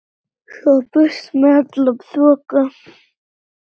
Svo burt með alla þoku.